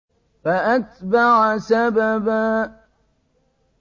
فَأَتْبَعَ سَبَبًا